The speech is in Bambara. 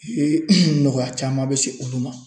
U ye nɔgɔya caman bɛ se olu ma